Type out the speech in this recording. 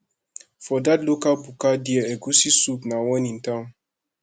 for dat local buka there egusi soup na one in town